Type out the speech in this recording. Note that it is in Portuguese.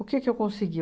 O que que eu consegui?